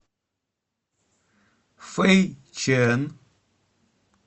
фэйчэн